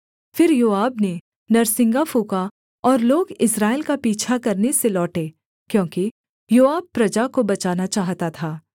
फिर योआब ने नरसिंगा फूँका और लोग इस्राएल का पीछा करने से लौटे क्योंकि योआब प्रजा को बचाना चाहता था